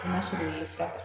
N ma sɛbɛ ta